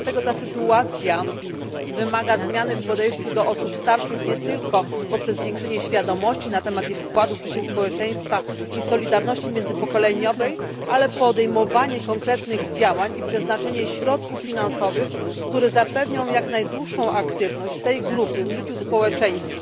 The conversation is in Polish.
Dlatego ta sytuacja wymaga zmiany w podejściu do osób starszych nie tylko poprzez zwiększenie świadomości na temat ich wkładu w życie społeczeństwa i solidarności międzypokoleniowej, ale także podejmowanie konkretnych działań i przeznaczenie środków finansowych, które zapewnią jak najdłuższą aktywność tej grupy w życiu społeczeństwa